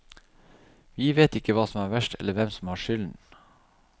Vi vet ikke hva som er verst eller hvem som har skylden.